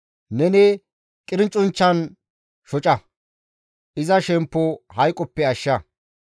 Neni qircunchchan shoca; iza shemppo hayqoppe ashsha.